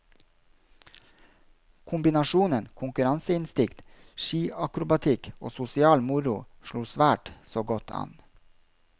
Kombinasjonen konkurranseinstinkt, skiakrobatikk og sosial moro, slo svært så godt an.